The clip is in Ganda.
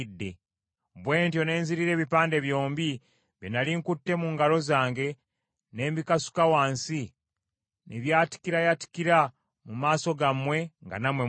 Bwe ntyo ne nzirira ebipande byombi bye nnali nkutte mu ngalo zange ne mbikasuka wansi ne byatikirayatikira mu maaso gammwe nga nammwe mulaba.